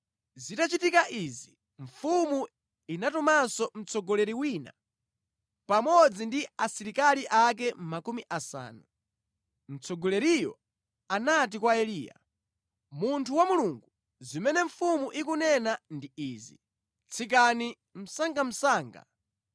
Zitachitika izi, mfumu inatumanso mtsogoleri wina pamodzi ndi asilikali ake makumi asanu. Mtsogoleriyo anati kwa Eliya, “Munthu wa Mulungu, zimene mfumu ikunena ndi izi, ‘Tsikani msangamsanga!’ ”